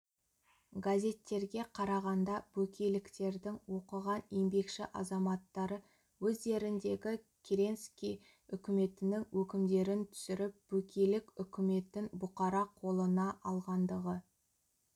газеттерге қарағанда бөкейліктердің оқыған еңбекші азаматтары өздеріндегі керенский үкіметінің өкімдерін түсіріп бөкейлік үкіметін бұқара қолына алғандығы